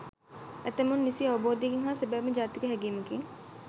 ඇතමුන් නිසි අවබෝධයකින් හා සැබෑම ජාතික හැගීමකින්